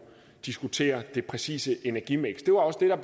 diskutere det præcise energimiks det var også det der